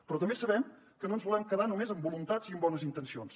però també sabem que no ens volem quedar només amb voluntats i amb bones intencions